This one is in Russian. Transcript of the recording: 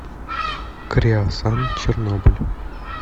креосан чернобыль